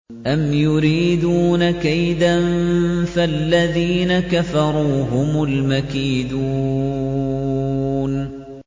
أَمْ يُرِيدُونَ كَيْدًا ۖ فَالَّذِينَ كَفَرُوا هُمُ الْمَكِيدُونَ